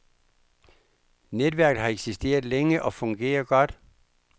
Netværket har eksisteret længe og fungerer godt.